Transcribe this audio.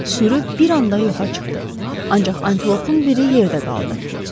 Sürü bir anda yoxa çıxdı, ancaq antilopun biri yerdə qaldı.